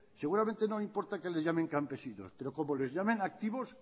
seguramente no importa que les llamen campesinos pero como les llamen activos